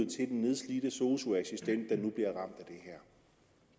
til den nedslidte sosu assistent